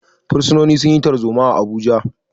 Bursunoni sun yi tarzoma a Abuja.